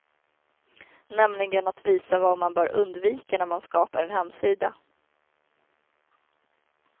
Nämligen att visa vad man bör undvika när man skapar en hemsida.